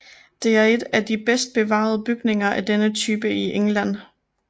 Det er et af de bedst bevarede bygninger af denne type i England